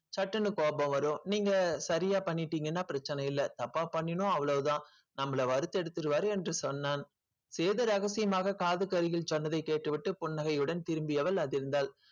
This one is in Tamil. சட்டுன்னு கோபம் வரும் நீங்க சரியா பண்ணிட்டீங்கன்னா பிரச்சனை இல்லை தப்பா பண்ணினோம் அவ்வளவுதான் நம்மள வறுத்தெடுத்துருவாரு என்று சொன்னான் சேது ரகசியமாக காதுக்கு அருகில் சொன்னதைக் கேட்டு விட்டு புன்னகையுடன் திரும்பியவள் அதிர்ந்தாள்